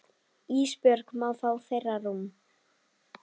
Ísbjörg má fá þeirra rúm.